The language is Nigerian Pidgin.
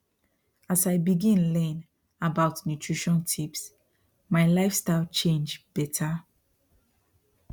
as i begin learn about nutrition tips my lifestyle change better